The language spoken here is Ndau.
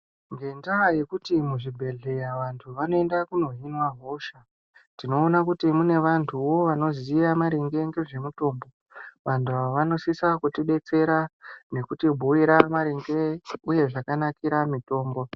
Ngendaa yekuti muzvibhedhleya vantu vanoenda kunohinwa hosha, tinoona kuti mune vantuwo vanoziya maringe ngezvemitombo .Vantu ava vanosisa kutidetsera nekutibhuira maringe, uye zvakanakira mitombo.